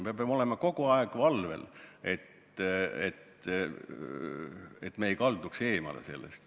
Me peame olema kogu aeg valvel, et me ei kalduks eemale.